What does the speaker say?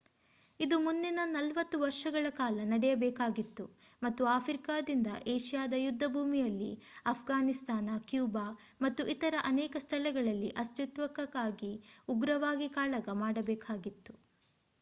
ಇದು ಮುಂದಿನ 40 ವರ್ಷಗಳ ಕಾಲ ನಡೆಯಬೇಕಾಗಿತ್ತು ಮತ್ತು ಆಫ್ರಿಕಾದಿಂದ ಏಷ್ಯಾದ ಯುದ್ಧಭೂಮಿಯಲ್ಲಿ ಅಫ್ಘಾನಿಸ್ತಾನ ಕ್ಯೂಬಾ ಮತ್ತು ಇತರ ಅನೇಕ ಸ್ಥಳಗಳಲ್ಲಿ ಅಸ್ತಿತ್ವಕ್ಕಾಗಿ ಉಗ್ರವಾಗಿ ಕಾಳಗ ಮಾಡಬೇಕಾಗಿತ್ತು